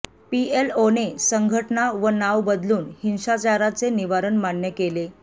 पीएलओने संघटना व नाव बदलून हिंसाचाराचे निवारण मान्य केले